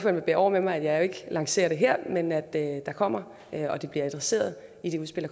vil bære over med at jeg ikke lancerer det her men det kommer og det bliver adresseret i det udspil